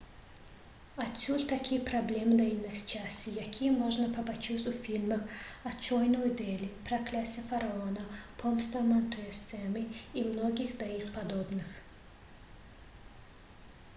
адсюль такія праблемы і няшчасці якія можна пабачыць у фільмах «аднойчы ў дэлі» «пракляцце фараона» «помста мантэсумы» і многіх да іх падобных